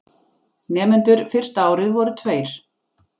Nemendur fyrsta árið voru tveir.